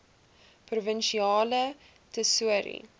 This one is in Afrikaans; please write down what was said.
provinsiale tesourie